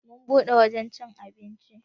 Mu bude wajan cin abinci.